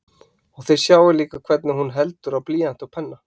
Og þið sjáið líka hvernig hún heldur á blýanti og penna.